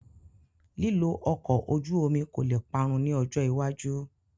Lílo ọkọ̀ ojú omi kò le parun ní ọjọ́ iwájú